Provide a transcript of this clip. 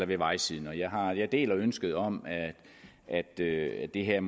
ved vejsiden jeg deler ønsket om at det det her